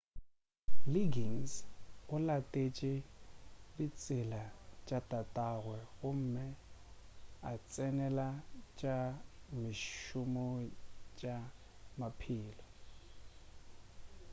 liggins o latetše ditsela tša tatagwe gomme a tsenela tša mešomo ya tša maphelo